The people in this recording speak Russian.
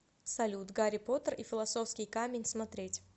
салют гарри потер и филосовский камень смотреть